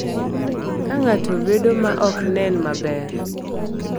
Ka ng’ato bedo ma ok nen maber,